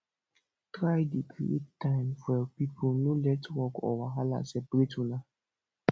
try dey create time for yur pipo no let work or wahala separate una